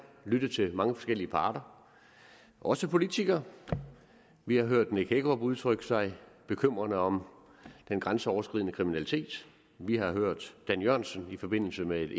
lyttet til mange forskellige parter også politikere vi har hørt herre nick hækkerup udtrykke sig bekymret om den grænseoverskridende kriminalitet vi har hørt dan jørgensen i forbindelse med et